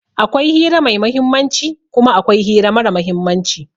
Akwai hira mai muhimmanci kuma akwai hira mara muhimmanci.